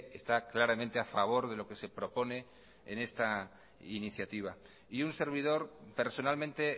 está claramente a favor de lo que se propone en esta iniciativa y un servidor personalmente